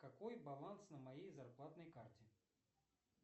какой баланс на моей зарплатной карте